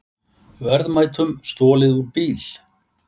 Verðmætum stolið úr bíl